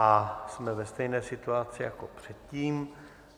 A jsme ve stejné situaci jako předtím.